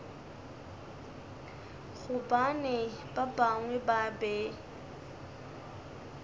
gobane ba bangwe ba be